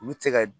Olu tɛ se ka